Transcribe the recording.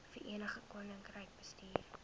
verenigde koninkryk bestuur